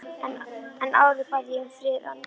Áður bað ég um frið án fyrirhafnar.